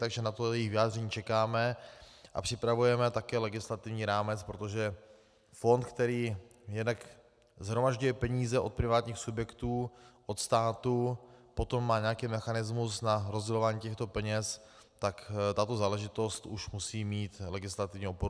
Takže na to jejich vyjádření čekáme a připravujeme také legislativní rámec, protože fond, který jednak shromažďuje peníze od privátních subjektů, od státu, potom má nějaký mechanismus na rozdělování těchto peněz, tak tato záležitost už musí mít legislativní oporu.